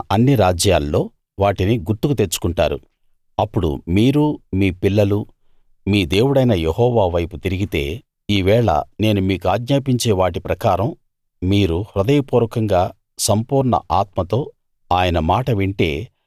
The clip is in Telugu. అన్ని రాజ్యాల్లో వాటిని గుర్తుకు తెచ్చుకుంటారు అప్పుడు మీరూ మీ పిల్లలూ మీ దేవుడైన యెహోవా వైపు తిరిగితే ఈవేళ నేను మీకాజ్ఞాపించే వాటి ప్రకారం మీరు హృదయపూర్వకంగా సంపూర్ణ ఆత్మతో ఆయన మాట వింటే